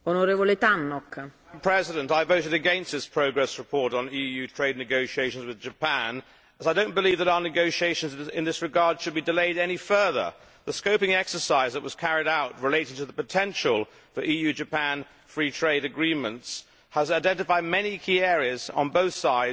Madam President, I voted against this progress report on EU trade negations with Japan as I do not believe that our negotiations in this regard should be delayed any further. The scoping exercise which was carried out relating to the potential for EU Japan free trade agreements has identified many key areas on both sides.